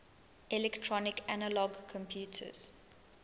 electronic analog computers